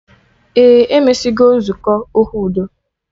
Ee, emesigo nzukọ okwu udo